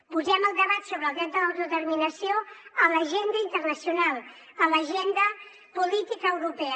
posem el debat sobre el dret de l’autodeterminació a l’agenda internacional a l’agenda política europea